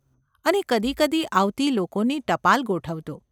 અને કદી કદી આવતી લોકોની ટપાલ ગોઠવતો.